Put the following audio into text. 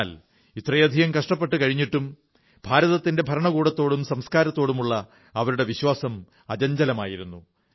എന്നാൽ ഇത്രയധികം കഷ്ടപ്പെട്ടു കഴിഞ്ഞിട്ടും ഭാരതത്തിന്റെ ഭരണകൂടത്തോടും സംസ്കാരത്തോടുമുള്ള അവരുടെ വിശ്വാസം അചഞ്ചലമായിരുന്നു